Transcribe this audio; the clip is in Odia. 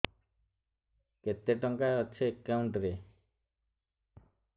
କେତେ ଟଙ୍କା ଅଛି ଏକାଉଣ୍ଟ୍ ରେ